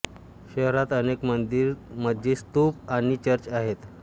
शहरात अनेक मंदिर मस्जिद स्तूप आणि चर्च आहेत